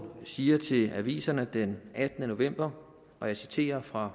siger til aviserne den attende november og jeg citerer fra